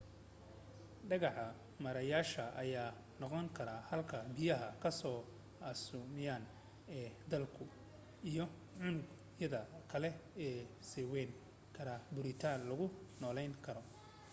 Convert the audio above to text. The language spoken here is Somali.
dhagax meereyayaasha ayaa noqon karaa halka biyaha kasoo askumeyn ee dhulka iyo unug yadada kale ee sameyn kara burutiin lagu noolan karo